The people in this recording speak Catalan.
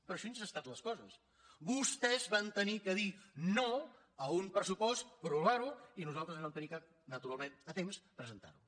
però així han estat les coses vostès van haver de dir no a un pressupost prorrogar lo i nosaltres vam haver de naturalment a temps presentar lo